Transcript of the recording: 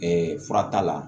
fura t'a la